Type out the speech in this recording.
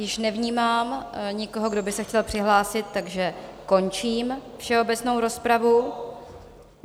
Již nevnímám nikoho, kdo by se chtěl přihlásit, takže končím všeobecnou rozpravu.